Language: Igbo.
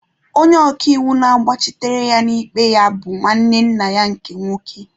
Onye ọka iwu na-agbachitere ya n'ikpe ya bụ nwanne nna ya nke nwoke.